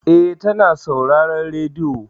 Eh, ta na sauraren rediyo.